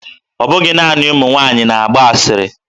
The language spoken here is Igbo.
Ọ bụghị naanị ụmụ nwaanyị na-agba asịrị